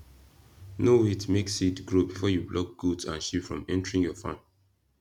no wait make seed grow before you block goat and sheep from entering your farm